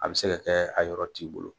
A bɛ se ka kɛ a yɔrɔ t'i bolo.